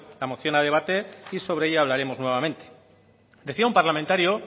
la moción a debate y sobre ella hablaremos nuevamente decía un parlamentario